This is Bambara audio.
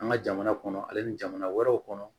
An ka jamana kɔnɔ ale ni jamana wɛrɛw kɔnɔ